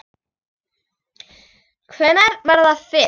Hvenær var það fyrst?